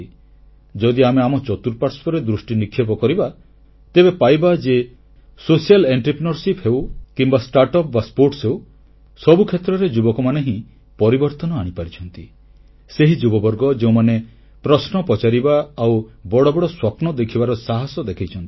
ଯଦି ଆମେ ଆମ ଚତୁଃପାଶ୍ୱର୍ରେ ଦୃଷ୍ଟିନିକ୍ଷେପ କରିବା ତେବେ ପାଇବା ଯେ ସାମାଜିକ ଉଦ୍ୟମଶୀଳତା ହେଉ କିମ୍ବା ଷ୍ଟାର୍ଟ ଅପ ବା କ୍ରୀଡା ହେଉ ସବୁ କ୍ଷେତ୍ରରେ ଯୁବକମାନେ ହିଁ ପରିବର୍ତ୍ତନ ଆଣିପାରିଛନ୍ତି ସେହି ଯୁବବର୍ଗ ଯେଉଁମାନେ ପ୍ରଶ୍ନ ପଚାରିବା ଆଉ ବଡ଼ ବଡ଼ ସ୍ୱପ୍ନ ଦେଖିବାର ସାହାସ ଦେଖେଇଛନ୍ତି